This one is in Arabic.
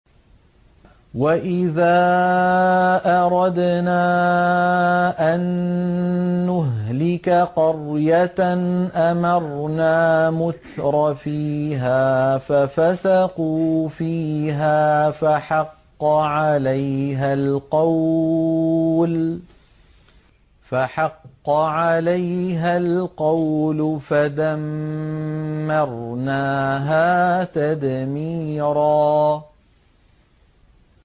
وَإِذَا أَرَدْنَا أَن نُّهْلِكَ قَرْيَةً أَمَرْنَا مُتْرَفِيهَا فَفَسَقُوا فِيهَا فَحَقَّ عَلَيْهَا الْقَوْلُ فَدَمَّرْنَاهَا تَدْمِيرًا